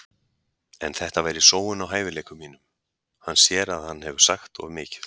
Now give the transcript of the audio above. En þetta væri sóun á hæfileikum mínum. Hann sér að hann hefur sagt of mikið.